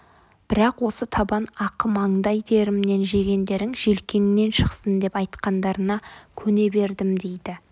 бірақ осы табан ақы маңдай терімнен жегендерің желкеңнен шықсын деп айтқандарына көне бердім дейді